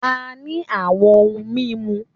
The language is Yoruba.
A ní àwọn ohun mímu